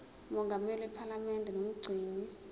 mongameli wephalamende nomgcini